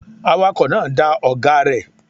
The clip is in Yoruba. Awakọ̀ náà da ọ̀gáa rẹ̀.